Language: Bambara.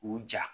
K'u ja